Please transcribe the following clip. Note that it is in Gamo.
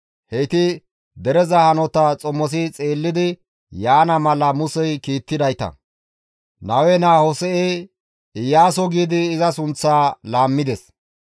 Heyti dereza hanota xomosi xeellidi yaana mala Musey kiittidayta; Nawe naa Hose7e, «Iyaaso» giidi iza sunththaa laammides.